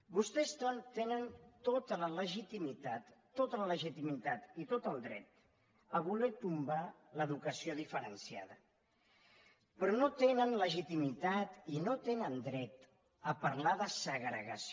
vostès tenen tota la legitimitat tota la legitimitat i tot el dret a voler tombar l’educació diferenciada però no tenen legitimitat i no tenen dret a parlar de segregació